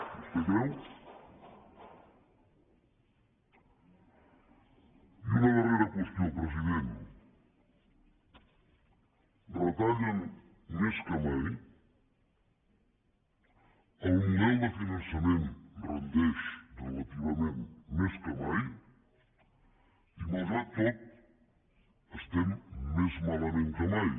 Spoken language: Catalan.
vostè ho creu i una darrera qüestió president retallen més que mai el model de finançament rendeix relativament més que mai i malgrat tot estem més malament que mai